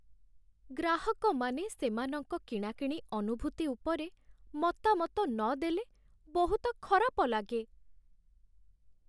ଗ୍ରାହକମାନେ ସେମାନଙ୍କ କିଣାକିଣି ଅନୁଭୂତି ଉପରେ ମତାମତ ନଦେଲେ, ବହୁତ ଖରାପ ଲାଗେ।